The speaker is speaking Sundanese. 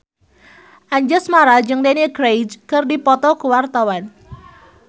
Anjasmara jeung Daniel Craig keur dipoto ku wartawan